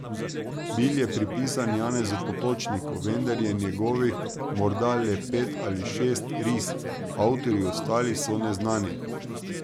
Bil je pripisan Janezu Potočniku, vendar je njegovih morda le pet ali šest ris, avtorji ostalih so neznani.